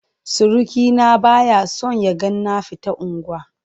Surukina ba ya son ya ga na fita unguwa.